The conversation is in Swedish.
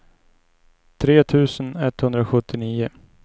tre tusen etthundrasjuttionio